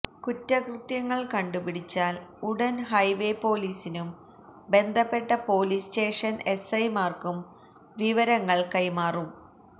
കുറ്റകൃത്യങ്ങള് കണ്ടുപിടിച്ചാല് ഉടന് ഹൈവേ പോലീസിനും ബന്ധപ്പെട്ട പോലീസ് സ്റ്റേഷന് എസ്ഐമാര്ക്കും വിവരങ്ങള് കൈമാറും